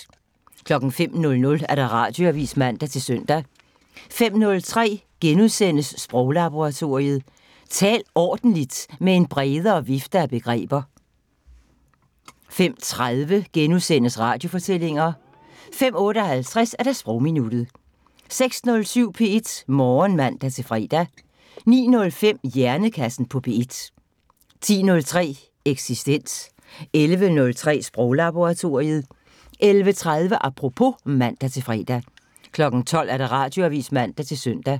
05:00: Radioavisen (man-søn) 05:03: Sproglaboratoriet: Tal ordentligt med en bredere vifte af begreber * 05:30: Radiofortællinger * 05:58: Sprogminuttet 06:07: P1 Morgen (man-fre) 09:05: Hjernekassen på P1 10:03: Eksistens 11:03: Sproglaboratoriet 11:30: Apropos (man-fre) 12:00: Radioavisen (man-søn)